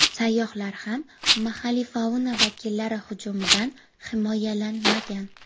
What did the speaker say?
Sayyohlar ham mahalliy fauna vakillari hujumidan himoyalanmagan.